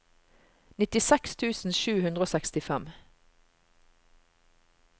nittiseks tusen sju hundre og sekstifem